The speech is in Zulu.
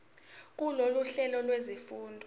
kulolu hlelo lwezifundo